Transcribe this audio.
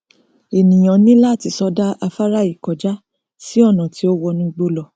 ènìà ní láti sọdá afárá yìí kọjá sí ọnà tí ó wọ inú igbó lọ